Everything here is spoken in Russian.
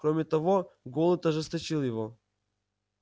кроме того голод ожесточил его